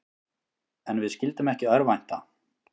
En við skyldum ekki örvænta.